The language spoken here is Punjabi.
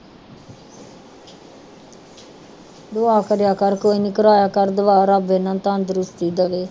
ਦੁਆ ਕਰਿਆ ਕਰ, ਕੋਈ ਨੀ ਕਰਾਇਆ ਕਰ ਦੁਆ ਰੱਬ ਇਹਨਾਂ ਨੂੰ ਤੰਦਰੁਸਤੀ ਦੇਵੇ।